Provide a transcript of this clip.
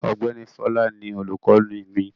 Ọ̀gbẹ́ni Fọlá ni olùkọ́ní mi.